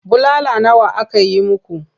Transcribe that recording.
Bulala nawa aka yi muku?